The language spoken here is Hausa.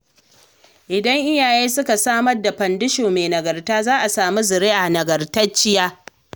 Idan iyaye suka samar da fandisho mai nagarta za a sami zuriya nagartacciya.